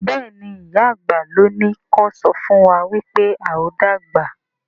Béèni ìyá àgbà ló ní kò sọfún wá wípé ào dàgbà.